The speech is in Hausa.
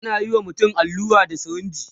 anayi wa mutum allura da sirinji